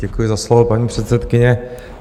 Děkuji za slovo, paní předsedkyně.